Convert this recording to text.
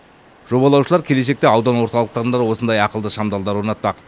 жобалаушылар келешекте аудан орталықтарында да осындай ақылды шамдалдар орнатпақ